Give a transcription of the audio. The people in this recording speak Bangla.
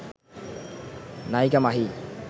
নায়িকা মাহি